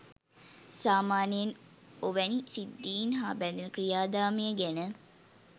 සාමාන්‍යයෙන් ඔවැනි සිද්ධීන් හා බැ‍ඳෙන ක්‍රියාදාමය ගැන